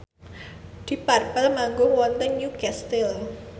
deep purple manggung wonten Newcastle